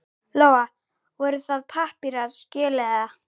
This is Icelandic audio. Lóa: Voru það pappírar, skjöl eða?